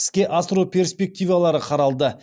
іске асыру перспективалары қаралды